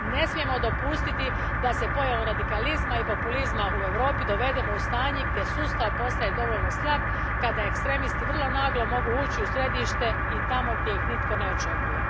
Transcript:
Ne smijemo dopustiti da se pojavom radikalizma i populizma u Europi dovedemo u stanje gdje sustav postaje dovoljno slab, kada ekstremisti vrlo naglo mogu ući u središte i tamo gdje ih nitko ne očekuje.